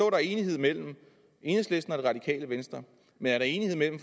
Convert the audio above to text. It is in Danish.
er enighed mellem enhedslisten og det radikale venstre men er der enighed mellem